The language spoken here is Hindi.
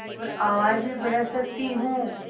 और आवाज़ भी बढ़ा सकती हूँ